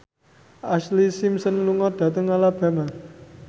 Ashlee Simpson lunga dhateng Alabama